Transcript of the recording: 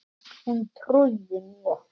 Hún trúði mér.